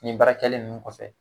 Nin baarakɛlen ninnu kɔfɛ